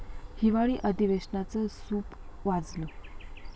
हिवाळी अधिवेशनाचं सूप वाजलं